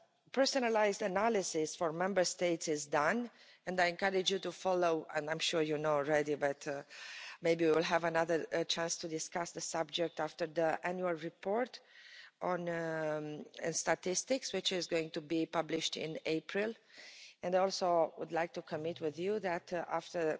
Personalised analysis for Member States is done, and I encourage you to follow, and I'm sure you're not already, but maybe we will have another chance to discuss the subject after the annual report and statistics, which is going to be published in April. And also I would like to commit with you that after